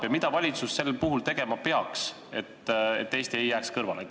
Mida peaks valitsus sel puhul tegema, et Eesti kõrvale ei jääks?